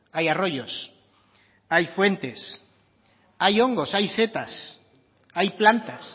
hay arroyos hay fuentes hay hongos hay setas hay plantas